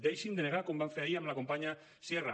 deixin de negar com van fer ahir amb la companya sierra